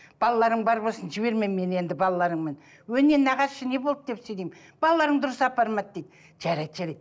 балаларың бар болсын жіберме мені енді балаларыңмен өй не нағашы не болды деп деймін балаларың дұрыс апармады дейді жарайды жарайды